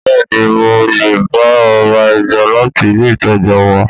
Bẹ́ẹ̀ni mo lè ba ọ ra ẹja láti ilé ìtajà wa